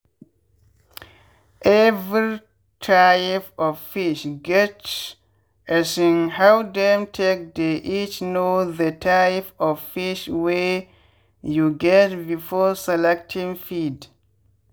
every type of fish get um how dem take dey eat-know the type of fish wey you get before selecting feed